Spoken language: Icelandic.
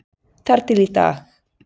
Þar til í dag.